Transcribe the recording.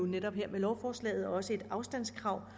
med lovforslaget også et afstandskrav